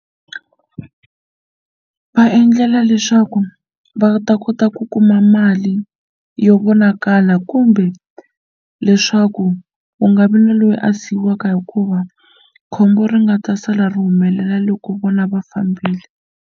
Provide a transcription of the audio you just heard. Va endlela leswaku va ta kota ku kuma mali yo vonakala kumbe leswaku ku nga vi na loyi a siyiwaka hikuva khombo ri nga ta sala ri humelela loko vona va fambile.